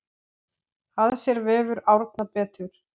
Að sér vefur Árna betur